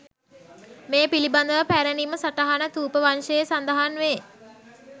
මේ පිළිබඳව පැරැණිම සටහන ථූපවංශයේ සඳහන් වේ.